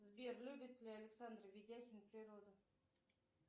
сбер любит ли александр ведяхин природу